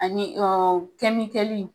Ani ɔɔ kɛmikɛli.